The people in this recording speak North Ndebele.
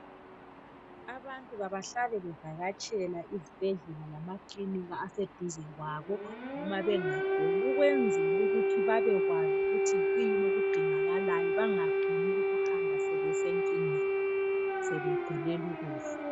Abantu kabahlale bevakatshela izibhedlela lamakilinika aseduze kwabo noma bengaguli ukwenzela ukuthi babekwazi ukuthi kuyini okudingakalayo bafuni ukuhamba sebese nkingeni sebegulela ukufa .